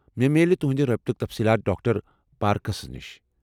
مےٚ میلہِ تہٕنٛدِ رٲبطُک تفصیٖلات ڈاکٹر پارکرس نش۔